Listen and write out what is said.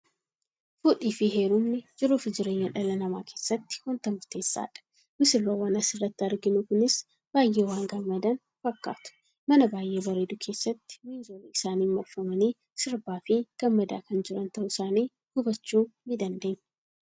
Fuudhiifi heerumni jiruufi jireenya dhala namaa keessatti wanta murteessaadha. Missirroowwan asirratti arginu kunis baay'ee waan gammadan fakkaatu. mana baay'ee bareedu keessatti miinzolii isaaniin marfamanii sirbaafi gammadaa kan jiran ta'uu isaanii hubachuu ni dandeenya.